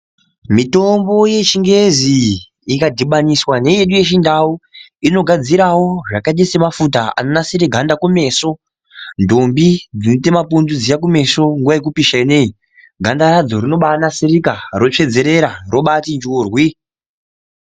Mutombo yechingezi, ikadhibaniswa neyedu yechindau ,inogadzirawo zvakaite semafuta anogadzire ganda kumeso. Ndombi dzinoite mapundu dziya kumeso, nguwa yekupisha ineyi ,ganda radzo rinobaanasirika, rotsveedzerera robaati njurwi.